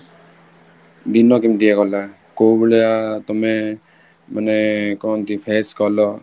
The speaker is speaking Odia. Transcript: ଦିନ କେମିତି ଗଲା, କୋଉ ଭଳିଆ ତମେ ମାନେ କହନ୍ତି face କଲ